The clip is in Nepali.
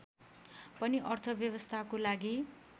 पनि अर्थव्यवस्थाको लागि